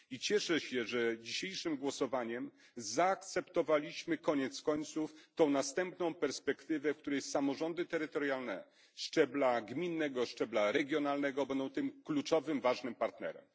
Cieszę się, że w dzisiejszym głosowaniu zaakceptowaliśmy koniec końców tę następną perspektywę, w której samorządy terytorialne szczebla gminnego i regionalnego będą tym kluczowym, ważnym partnerem.